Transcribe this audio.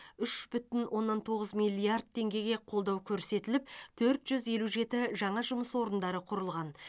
үш бүтін оннан тоғыз миллиард теңгеге қолдау көрсетіліп төрт жүз елу жеті жаңа жұмыс орындары құрылған